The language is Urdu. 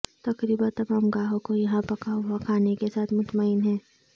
تقریبا تمام گاہکوں یہاں پکا ہوا کھانا کے ساتھ مطمئن ہیں